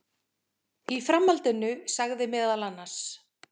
Í framhaldinu sagði meðal annars